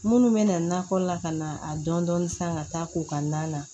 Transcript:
Minnu bɛ nakɔ la ka na a dɔn dɔnni san ka taa ko ka na